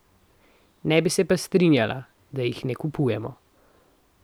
Ne bi se pa strinjala, da jih ne kupujemo.